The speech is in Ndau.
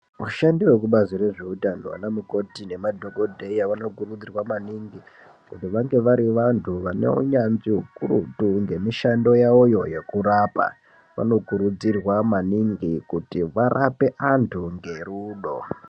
Vashandi vekubazi rezveutano anamukoti nemadhokodheya vanokurudzirwa maningi kuti vange vari vantu vane unyanzvi hukurutu ngemishando yavoyo yekurapa. Vanokurudzirwa maningi kuti varape antu ngerudo.